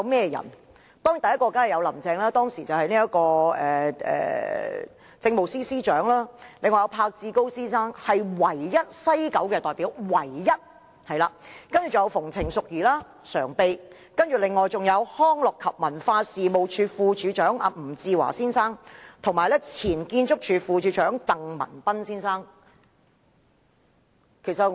第一位當然是是林鄭月娥，當時的政務司司長，另外栢志高先生，他是唯一一名來自西九文化區管理局的代表，還有民政事務局常任秘書長馮程淑儀、康樂及文化事務署副署長吳志華先生，以及前建築署副署長鄧文彬先生。